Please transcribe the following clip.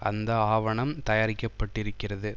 அந்த ஆவணம் தயாரிக்கப்பட்டிருக்கிறது